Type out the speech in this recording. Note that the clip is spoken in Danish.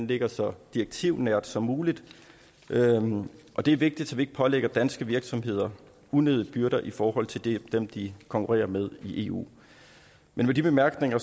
ligger så direktivnært som muligt det er vigtigt så vi ikke pålægger danske virksomheder unødige byrder i forhold til til dem de konkurrerer med i eu med de bemærkninger